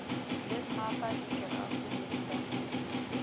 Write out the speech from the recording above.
le mmapa dikerafo le ditafole